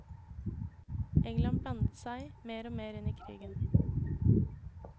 England blandet seg mer og mer inn i krigen.